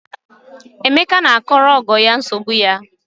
Emeka na-akọrọ ọgọ ya nsogbu ya.